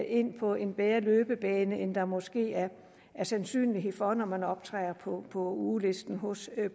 ind på en bedre løbebane end der måske er sandsynlighed for når man optræder på ugelisten hos